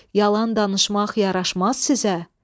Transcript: Yalan danışmaq yaraşmaz sizə.